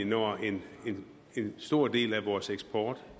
når en stor del af vores eksport